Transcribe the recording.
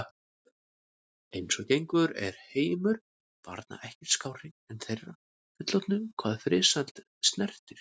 Eins og gengur er heimur barna ekkert skárri en þeirra fullorðnu hvað friðsæld snertir.